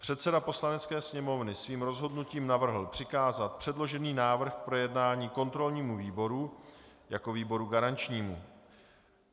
Předseda Poslanecké sněmovny svým rozhodnutím navrhl přikázat předložený návrh k projednání kontrolnímu výboru jako výboru garančnímu.